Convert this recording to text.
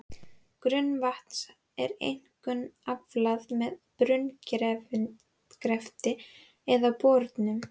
Grunnvatns er einkum aflað með brunngrefti eða borunum.